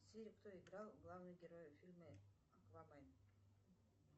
сири кто играл главного героя в фильме аквамен